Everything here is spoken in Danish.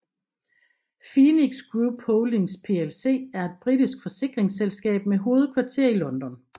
Phoenix Group Holdings plc er et britisk forsikringsselskab med hovedkvarter i London